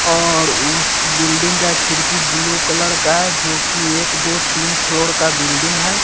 और उस बिल्डिंग का खिड़की ब्लू कलर का है जो कि एक दो तीन फ़्लोर का बिल्डिंग हैं।